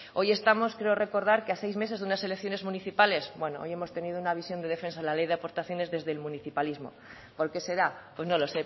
hoy estamos creo recordar que a seis meses de unas elecciones municipales bueno hoy hemos tenido una visión de defensa de la ley de aportaciones desde el municipalismo por qué será pues no lo